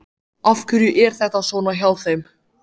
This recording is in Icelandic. Af hverju er þetta svona hjá þeim?